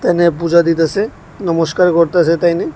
এখানে পূজা দিতাসে নমষ্কার করতাসে তাইনে।